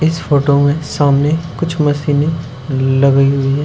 इस फोटो में सामने कुछ मशीनें लगी हुई हैं।